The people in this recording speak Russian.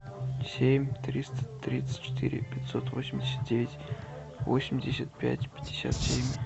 семь триста тридцать четыре пятьсот восемьдесят девять восемьдесят пять пятьдесят семь